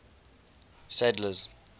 sadler's